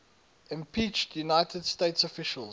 impeached united states officials